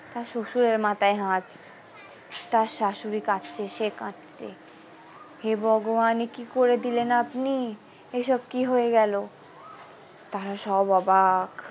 তার শশুরের মাথায় হাত তার শাশুড়ি কাঁদছে সে কাঁদছে হে ভগবান এ কি করে দিলেন আপনি এই সব কি হয়ে গেল তারা সব অবাক।